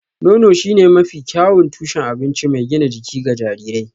Nono shine mafi kyawun tushen abinci mai gina jiki ga jarirai